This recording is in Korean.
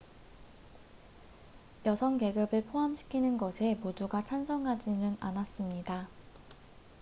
여성 계급을 포함시키는 것에 모두가 찬성하지는 않았습니다